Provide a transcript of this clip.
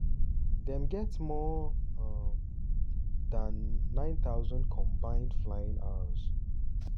dem get more um dan 9000 combined flying hours.